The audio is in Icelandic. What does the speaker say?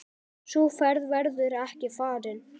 Sú ferð verður ekki farin.